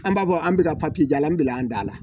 An b'a fɔ an bɛ ka papiye jala bila an da la.